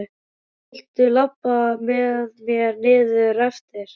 Viltu labba með mér niður eftir?